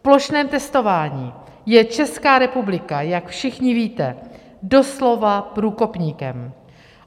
V plošném testováním je Česká republika, jak všichni víte, doslova průkopníkem.